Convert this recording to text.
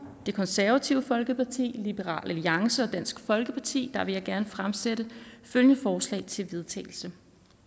det konservative folkeparti liberal alliance og dansk folkeparti fremsætte følgende forslag til vedtagelse